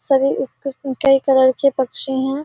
सभी उस किस्म के कलर के पक्षी हैं।